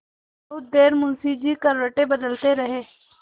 बहुत देर मुंशी जी करवटें बदलते रहे